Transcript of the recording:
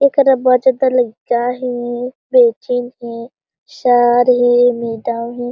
देखते बच्चे तले क्या हे बेचैन हे सर हे मैडम हे।